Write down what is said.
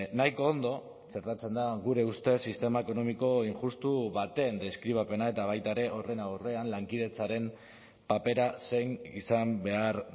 nahiko ondo txertatzen da gure ustez sistema ekonomiko injustu baten deskribapena eta baita ere horren aurrean lankidetzaren papera zein izan behar